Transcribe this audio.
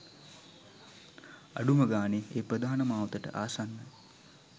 අඩුම ගානේ ඒ ප්‍රධාන මාවතට ආසන්න